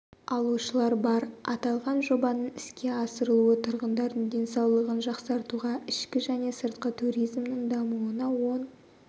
алушылар бар аталған жобаның іске асырылуы тұрғындардың денсаулығын жақсартуға ішкі және сыртқы туризмнің дамуына оң